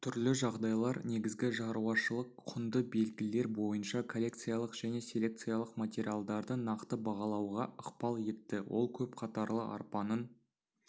түрлі жағдайлар негізгі шаруашылық-құнды белгілер бойынша коллекциялық және селекциялық материалдарды нақты бағалауға ықпал етті ол көп қатарлы арпаның